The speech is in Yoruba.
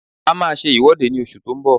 A máa ṣe ìwọ́de ní oṣù tó ń bọ̀